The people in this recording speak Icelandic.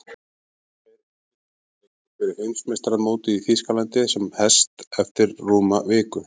Tveir undirbúningsleikir fyrir Heimsmeistaramótið í Þýskalandi sem hest eftir rúma viku.